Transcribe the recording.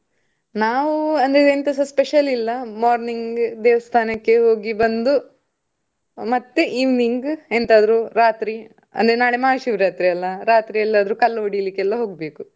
ನಾವು ಅಂದ್ರೆ ಎಂತಸಾ special ಇಲ್ಲ morning ದೇವಸ್ಥಾನಕ್ಕೆ ಹೋಗಿ ಬಂದು. ಮತ್ತೆ evening ಎಂತಾದ್ರು ರಾತ್ರಿ, ಅಂದ್ರೆ ನಾಳೆ ಮಹಾಶಿವರಾತ್ರಿ ಅಲ್ಲ, ರಾತ್ರಿ ಎಲ್ಲಾದ್ರೂ ಕಲ್ ಹೊಡಿಲಿಕ್ಕೆ ಎಲ್ಲಾ ಹೋಗ್ಬೇಕು.